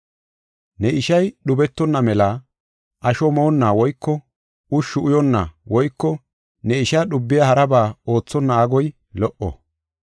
Ne ishay dhubetonna mela asho moonna woyko ushshu uyonna woyko ne ishaa dhubiya haraba oothonna agoy lo77o.